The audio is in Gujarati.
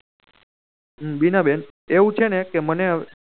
બીના બેન એવું છે ને કે મને હેવે